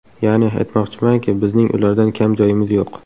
Ya’ni, aytmoqchimanki, bizning ulardan kam joyimiz yo‘q.